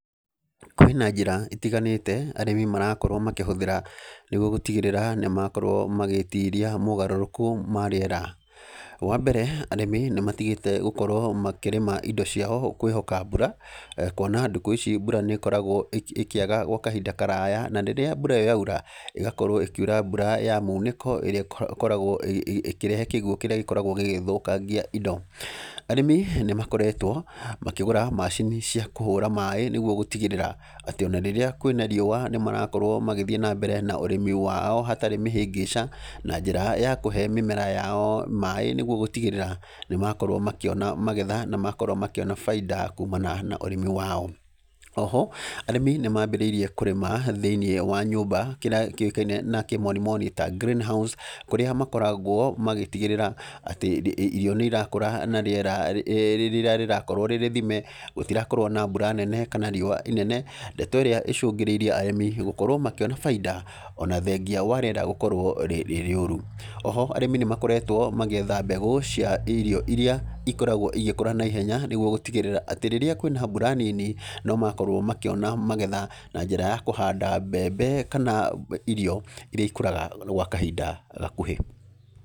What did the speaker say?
Kwĩna njĩra itiganĩte arĩmi marakorwo makĩhũthĩra ,nĩguo gũtigĩrĩra nĩ makorwo magĩĩtiria mogarũrũku ma rĩera. Wa mbere, arĩmi nĩ matigĩte gũkorwo makĩrĩma indo ciao kwĩhoka mbura, kuona ndukũ ici mbura nĩ ĩkoragwo ĩkĩaga gwa kahinda karaya, na rĩrĩa mbura ĩyo yaura, ĩgakorwo ĩkiura mbura ya mũnĩko, ĩrĩa ĩkoragwo ĩkĩrehe kĩguũ kĩrĩa gĩkoragwo gĩgĩthũkangia indo. Arĩmi, nĩ makoretwo makĩgũra macini cia kũhũra maĩ nĩguo gũtigĩrĩra, atĩ ona rĩrĩa kwĩna riũa nĩ marakorwo magĩthiĩ na mbere na ũrĩmi wao hatarĩ mĩhĩngĩca, na njĩra ya kũhe mĩmera yao maĩ nĩguo gũtigĩrĩra nĩ makorwo makĩona magetha na makorwo makĩona baida kumana na ũrĩmi wao. Oho, arĩmi nĩ mambĩrĩirie kũrĩma thĩiniĩ wa nyũmba kĩrĩa kĩũkaine na kĩmonimoni ta greenhouse, kũrĩa makoragwo magĩtigĩrĩra atĩ irio nĩ irakũra na rĩera rĩrĩa rĩrakorwo rĩ rĩthime, gũtirakorwo na mbura nene kana riũa inene. Ndeto ĩrĩa ĩcũngĩrĩirie arĩmi gũkorwo makĩona baida, ona thengia wa rĩera gũkorwo rĩ rĩũru. Oho, arĩmi nĩ makoretwo magĩetha mbegũ cia irio irĩa ikoragwo igĩkũra naihenya nĩguo gũtigĩrĩra atĩ rĩrĩa kwĩna mbura nini, no makorwo makĩona magetha, na njĩra ya kũhanda mbembe kana irio irĩa ikũraga gwa kahinda gakuhĩ.